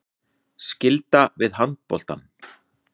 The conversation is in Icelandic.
Skylda við handboltann